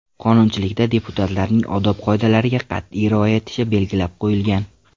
Qonunchilikda deputatlarning odob qoidalariga qat’iy rioya etishi belgilab qo‘yilgan.